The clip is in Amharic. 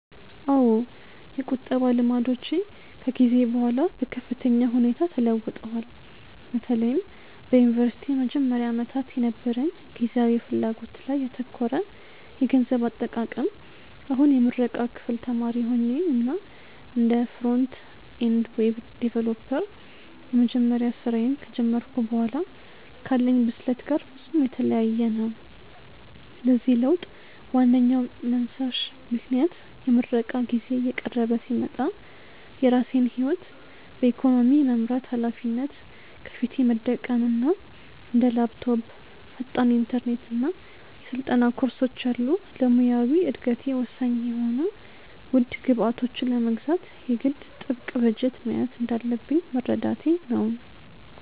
አዎ፣ የቁጠባ ልማዶቼ ከጊዜ በኋላ በከፍተኛ ሁኔታ ተለውጠዋል፤ በተለይም በዩኒቨርሲቲ መጀመሪያ ዓመታት የነበረኝ ጊዜያዊ ፍላጎት ላይ ያተኮረ የገንዘብ አጠቃቀም አሁን የምረቃ ክፍል ተማሪ ሆኜ እና እንደ ፍሮንት-ኤንድ ዌብ ዲቨሎፐር የመጀመሪያ ስራዬን ከጀመርኩ በኋላ ካለኝ ብስለት ጋር ፍጹም የተለያየ ነው። ለዚህ ለውጥ ዋነኛው መንሳሽ ምክንያት የምረቃ ጊዜዬ እየቀረበ ሲመጣ የራሴን ህይወት በኢኮኖሚ የመምራት ሃላፊነት ከፊቴ መደቀኑ እና እንደ ላፕቶፕ፣ ፈጣን ኢንተርኔት እና የስልጠና ኮርሶች ያሉ ለሙያዊ እደገቴ ወሳኝ የሆኑ ውድ ግብዓቶችን ለመግዛት የግድ ጥብቅ በጀት መያዝ እንዳለብኝ መረዳቴ ነው።